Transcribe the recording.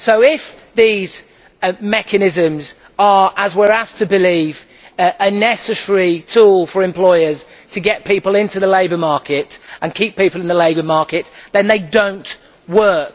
So if these mechanisms are as we are asked to believe a necessary tool for employers to get people into the labour market and keep people in the labour market, then they do not work.